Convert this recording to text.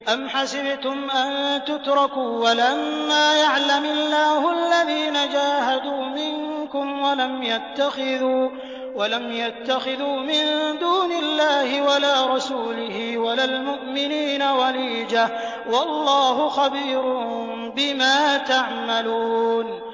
أَمْ حَسِبْتُمْ أَن تُتْرَكُوا وَلَمَّا يَعْلَمِ اللَّهُ الَّذِينَ جَاهَدُوا مِنكُمْ وَلَمْ يَتَّخِذُوا مِن دُونِ اللَّهِ وَلَا رَسُولِهِ وَلَا الْمُؤْمِنِينَ وَلِيجَةً ۚ وَاللَّهُ خَبِيرٌ بِمَا تَعْمَلُونَ